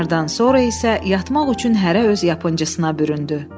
Nahardan sonra isə yatmaq üçün hərə öz yapıncısına büründü.